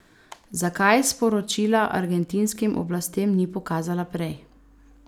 Zakaj sporočila argentinskim oblastem ni pokazala prej?